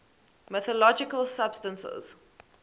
mythological substances